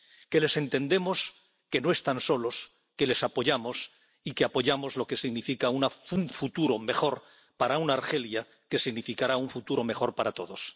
Que les entendemos, que no están solos, que les apoyamos y que apoyamos lo que significa un futuro mejor para una Argelia que significará un futuro mejor para todos.